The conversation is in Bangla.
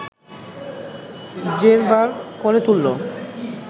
জেরবার করে তুলল